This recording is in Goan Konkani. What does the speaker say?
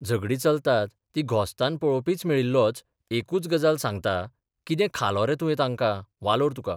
झगडीं चलतात तीं घोस्तान पळोवपीच मेळिल्लोच एकूच गजाल सांगता कितें खालो रे तुयें तांकां वालोर तुक.